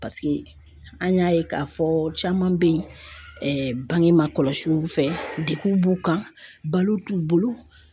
an y'a ye k'a fɔ caman be yen bange ma kɔlɔsiw fɛ degun b'u kan balo t'u bolo.